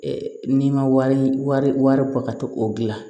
n'i ma wari ko ka to o gilan